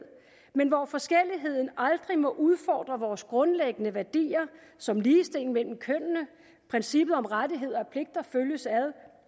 men hvor forskelligheden aldrig må udfordre vores grundlæggende værdier som ligestilling mellem kønnene princippet om at rettigheder og pligter følges ad